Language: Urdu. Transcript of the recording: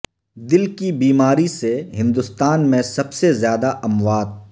دل کی بیماری سے ہندوستان میں سب سے زیادہ اموات